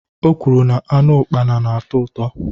Ọ kwuru na anụ ukpana na-atọ uto